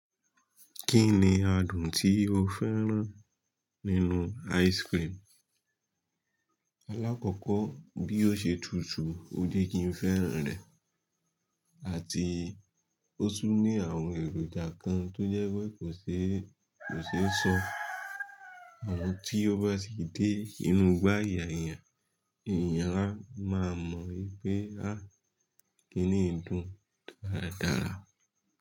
Kí ni adùn tí o fẹ́ràn nínú ice cream? Alákọ̀kọ́ bí ó ṣe tutù ó jẹ́ kí n fẹ́ràn rẹ̀. Àti ó tún ní àwọn èròjà kan tó jẹ́ wípé kò ṣe é, kò ṣe é sọ. Àmọ́ tí ó bá sì dé inú igbá ayà èèyàn, ni èèyàn a máa mọ̀ wípé kíni yi dùn dáadáa.